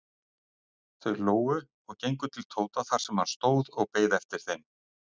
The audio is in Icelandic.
Þau hlógu og gengu til Tóta þar sem hann stóð og beið eftir þeim.